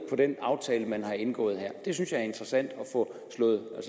på den aftale man har indgået her jeg synes det er interessant at få